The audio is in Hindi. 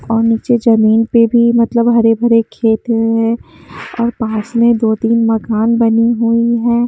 और नीचे जमीन पे भी मतलब हरे भरे खेत है और पास में दो-तीन मकान बनी हुई हैं।